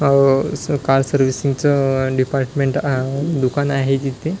अह असं car servicing च च डिपार्टमेंट अह दुकान आहे जिथे --